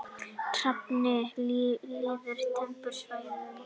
Hrafninn lifir á tempruðum svæðum.